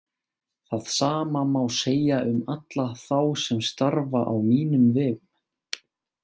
Það sama má segja um alla þá sem starfa á mínum vegum.